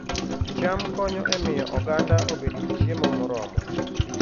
cham konyo e miyo oganda obed gi chiemo moromo